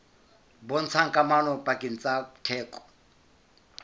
bontshang kamano pakeng tsa theko